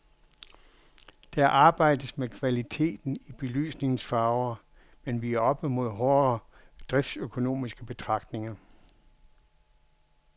Der arbejdes med kvaliteten i belysningens farve, men vi er oppe mod hårde driftsøkonomiske betragtninger.